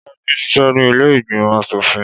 Bọ́lájí ń ṣiṣẹ́ ní ilé ìgbìmọ̀ aṣòfin.